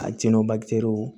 A jɛnn'o